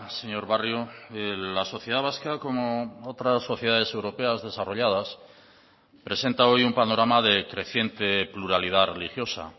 señor barrio la sociedad vasca como otras sociedades europeas desarrolladas presenta hoy un panorama de creciente pluralidad religiosa